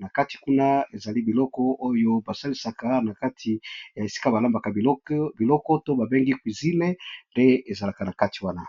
na kati kuna ezali biloko oyo basalisaka na kati ya esika balambaka biloko to babengi cuisine nde ezalaka na kati wana